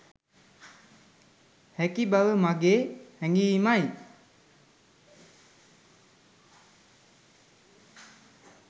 හැකි බව මගේ හැඟීමයි.